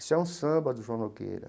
Esse é um samba do João Nogueira.